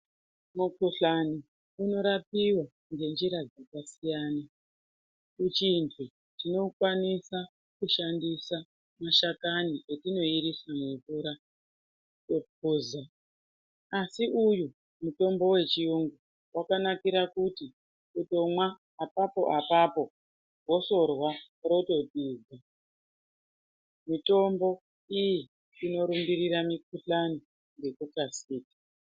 Mukhuhlani unorapiwa ngenjiara dzakasiyana kuchindwe tinokwanisa kushandisa mashakani etinoirisa mumvura opoza asi uyu mutombo wechiyungu wakanakira kuti ,kutsomwa apapo apapo wotorwa , mitombo iyi inorumbirira mikuhlani nekukasira.